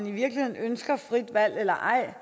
i i virkeligheden ønsker frit valg eller ej